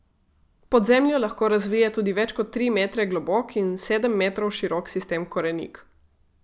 Pod zemljo lahko razvije tudi več kot tri metre globok in sedem metrov širok sistem korenik.